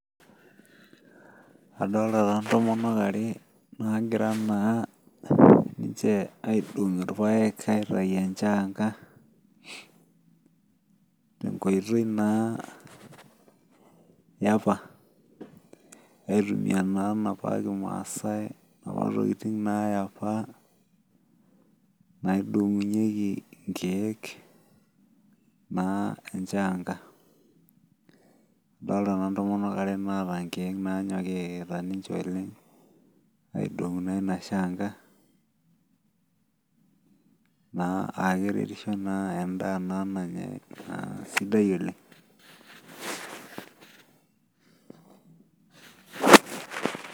Adolta taa intomonok are nagira naa ninche aidong irpayek aitai enchaanga tenkoitoi naa yeapa aitumia naa enapa kimasae inapa tokiting naa yeapa naidong'unyieki inkeek naa enchaanga adolta naaa intomonk are naata inkeek naanyokita ninche oleng aidong'u naa ina shaanga naa akeretisho endaa naa nanya naa sidai oleng.